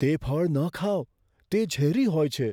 તે ફળ ન ખાઓ. તે ઝેરી હોય છે.